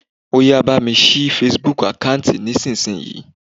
Óyá bá mi ṣí Facebook àkántì nísinsìnyí.